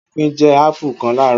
Akin jẹ́ ápù kan láàárọ̀.